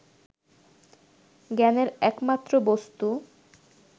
জ্ঞানের একমাত্র বস্তু